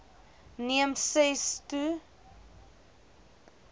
neem ses to